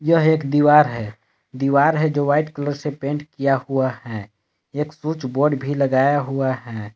यह एक दीवार है दीवार है जो व्हाइट कलर से पेंट किया हुआ है एक स्विच बोर्ड भी लगाया हुआ है।